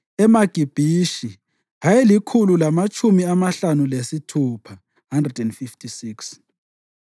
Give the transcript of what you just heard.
eMagibhishi ayelikhulu lamatshumi amahlanu lasithupha (156),